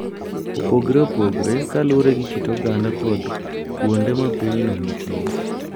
opogore opogore kaluwore gi kit oganda kod kuonde ma pinyno nitie.